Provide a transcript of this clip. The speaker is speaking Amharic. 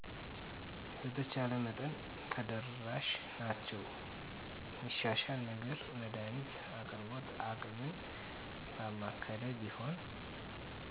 በተቻለ መጠን ተደራሽ ናቸዉ የሚሻሻል ነገር መድሀኒት አቅርቦት አቅምን ባማከለ ቢሆን